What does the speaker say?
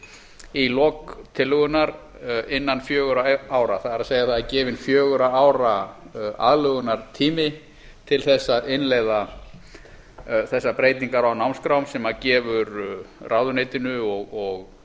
í lok tillögunnar innan fjögurra ára það er það er gefinn fjögurra ára aðlögunartími til þess að innleiða þessar breytingar á námskrám sem gefur ráðuneytinu og